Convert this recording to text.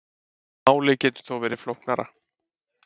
Málið getur þó verið flóknara.